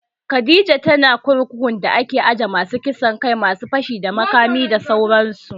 Khadijah tana kurkukun da ake ajiye masu kisan kai, masu fashi da makami da sauran su